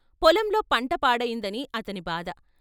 పొలంలో పంట పాడయిందని అతని బాధ.